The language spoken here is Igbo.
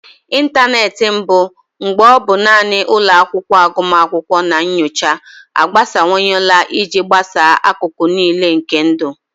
Ịntanetị mbụ, mgbe ọ bụ naanị ụlọ akwụkwọ agụmakwụkwọ na nyocha, agbasawanyela iji gbasaa akụkụ niile nke ndụ.